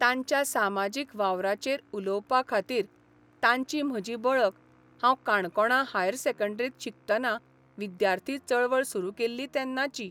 तांच्या सामाजिक वावराचेर उलोवपा खातीर तांची म्हजी बळख हांव काणकोणां हायर सेकंडरींत शिकतना विद्यार्थी चळवळ सुरू केल्ली तेन्नाची.